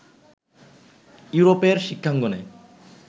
ইউরোপের শিক্ষাঙ্গনে